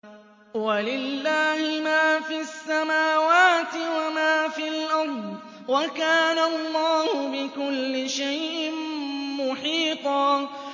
وَلِلَّهِ مَا فِي السَّمَاوَاتِ وَمَا فِي الْأَرْضِ ۚ وَكَانَ اللَّهُ بِكُلِّ شَيْءٍ مُّحِيطًا